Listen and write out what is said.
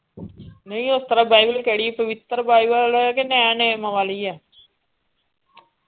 ਨਹੀਂ ਓਤਰਾਂ ਬਾਈਬਲ ਕਿਹੜੀ ਪਵਿੱਤਰ ਬਾਈਬਲ ਕ ਨੈਣ ਵਾਲੀ ਆ .